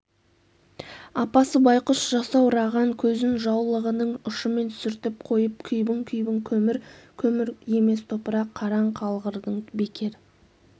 апасы байқұс жасаураған көзін жаулығының ұшымен сүртіп қойып күйбің-күйбің көмір көмір емес топырақ қараң қалғырдың бекер